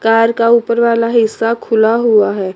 Car का ऊपर वाला हिस्सा खुला हुआ है।